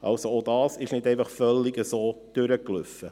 Also auch dies ging nicht einfach völlig so durch.